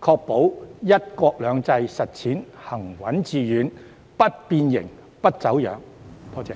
確保"一國兩制"實踐行穩致遠，不變形、不走樣，多謝。